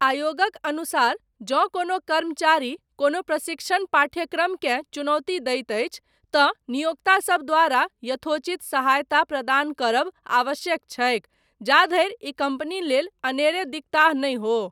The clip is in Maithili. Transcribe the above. आयोगक अनुसार, जँ कोनो कर्मचारी, कोनो प्रशिक्षण पाठ्यक्रमकेँ चुनौती दैत अछि, तँ नियोक्तासभ द्वारा 'यथोचित सहायता ' प्रदान करब आवश्यक छैक, जाधरि ई कम्पनी लेल, 'अनेरे दिकताह' नहि हो।